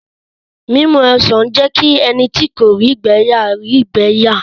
Mímu ọsàn lé jẹ́ kí ẹni tí kò rí ìgbẹ̀ yà rí ìgbẹ́ yà